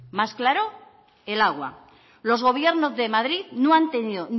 más claro el agua los gobiernos de madrid no han tenido